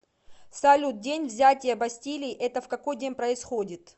салют день взятия бастилии это в какой день происходит